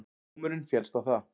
Dómurinn féllst á það